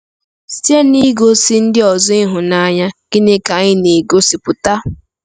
Site n'igosi ndị ọzọ ịhụnanya, gịnị ka anyị na-egosipụta?